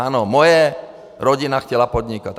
Ano, moje rodina chtěla podnikat.